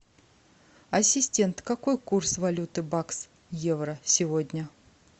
ассистент какой курс валюты бакс евро сегодня